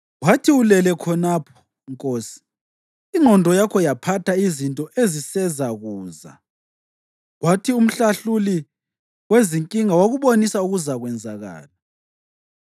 Wathi ulele khonapho nkosi, ingqondo yakho yaphatha izinto ezisezakuza, kwathi umhlahluli wezinkinga wakubonisa okuzakwenzakala.”